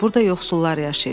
Burda yoxsullar yaşayır.